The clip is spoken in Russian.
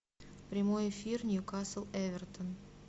прямой эфир ньюкасл эвертон